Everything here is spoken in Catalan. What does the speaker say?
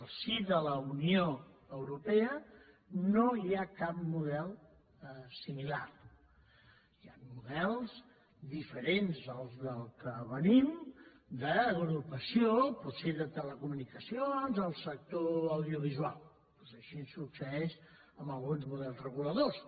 al si de la unió europea no hi ha cap model si·milar hi ha models diferents d’aquells de què venim d’agrupació potser de telecomunicacions del sector audiovisual doncs així succeeix amb alguns models reguladors